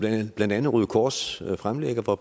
blandt andet røde kors fremlægger hvor